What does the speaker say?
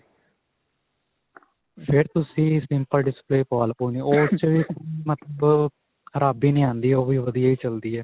ਫਿਰ ਤੁਸੀਂ simple display ਪਵਾ ਲਵੋ ਮਤਲਬ ਖਰਾਬੀ ਨਹੀਂ ਆਉਂਦੀ ਵਧੀਆ ਹੀ ਚਲਦੀ ਹੈ.